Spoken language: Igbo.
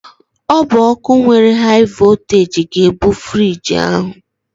Ọ bụ ọkụ nwere haị vọlteeji ga-ebu friiji ahụ.